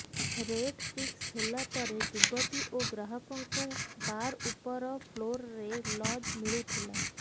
rate fix ହେଲା ପରେ ଯୁବତୀ ଓ ଗ୍ରାହକଙ୍କୁ ବାର ଉପର ଫ୍ଲୋରରେ ଲଜ୍ ମିଳୁଥିଲା